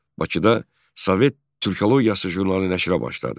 Bakıda Sovet Türkologiyası jurnalı nəşrə başladı.